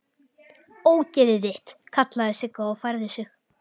Ógeðið þitt!! kallaði Sigga og færði sig.